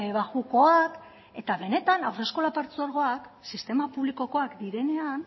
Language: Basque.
baxukoak eta benetan haurreskolak partzuergoak sistema publikokoak direnean